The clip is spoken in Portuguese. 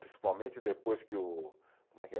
Principalmente depois que o, como é que é?